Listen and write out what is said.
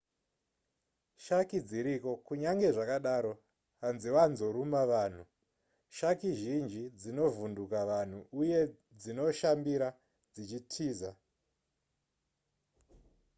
shaki dziriko kunyange zvakadaro hanzivanzoruma vanhu shaki zhinji dzinovhunduka vanhu uye dzinoshambira dzichitiza